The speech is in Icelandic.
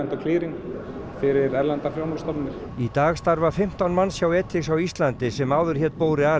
fyrir erlendar þjónustustofnanir í dag starfa fimmtán manns hjá á Íslandi sem áður hét